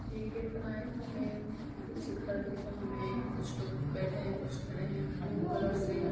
एक गेट बना है जहाँ पे कुछ घर दिख रहे है हमे कुछ लोग बैठे है कुछ खड़े है ब्लू कलर से--